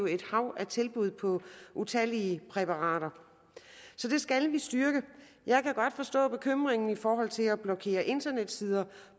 et hav af tilbud på utallige præparater så det skal vi styrke jeg kan godt forstå bekymringen i forhold til at blokere internetsider